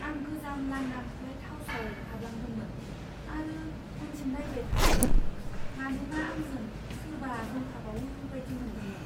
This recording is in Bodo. आं गोजाम लांदां लाइट हाउसाव हाबलांदोंमोन, आरो उनथिं नायबाय थादोंमोन, मानोना आंजों सोरबा दंफाबावो बायदि मोन्दोंमोन।